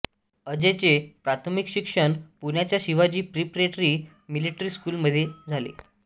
अजयचे प्राथमिक शिक्षण पुण्याच्या शिवाजी प्रिपरेटरी मिलिटरी स्कूलमध्ये झाले